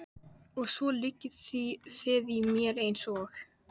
Af því að enginn drekkur það.